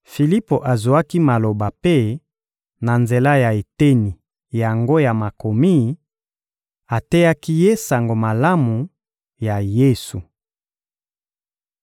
Filipo azwaki maloba mpe, na nzela ya eteni yango ya Makomi, ateyaki ye Sango Malamu ya Yesu.